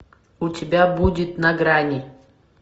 у тебя будет на грани